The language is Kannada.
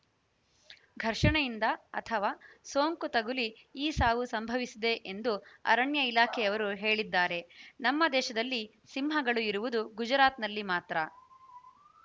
ಘರ್ಷಣೆಯಿಂದ ಅಥವಾ ಸೋಂಕು ತಗುಲಿ ಈ ಸಾವು ಸಂಭವಿಸಿದೆ ಎಂದು ಅರಣ್ಯ ಇಲಾಖೆಯವರು ಹೇಳಿದ್ದಾರೆ ನಮ್ಮ ದೇಶದಲ್ಲಿ ಸಿಂಹಗಳು ಇರುವುದು ಗುಜರಾತ್‌ನಲ್ಲಿ ಮಾತ್ರ